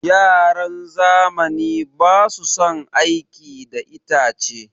Yaran zamani basu son aiki da itace.